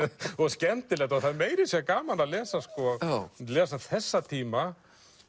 skemmtilegt og það er meira að segja gaman að lesa lesa þessa tíma